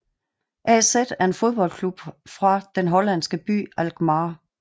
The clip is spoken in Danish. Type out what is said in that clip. AZ er en fodboldklub fra den hollandske by Alkmaar